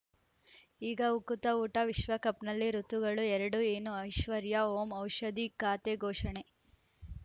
ಈಗ ಉಕುತ ಊಟ ವಿಶ್ವಕಪ್‌ನಲ್ಲಿ ಋತುಗಳು ಎರಡು ಏನು ಐಶ್ವರ್ಯಾ ಓಂ ಔಷಧಿ ಖಾತೆ ಘೋಷಣೆ